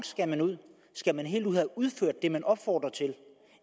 skal ud skal man helt ud udført det man opfordrer til